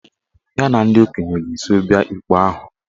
Ya na ndị okenye ga-eso bịa ikpe ahụ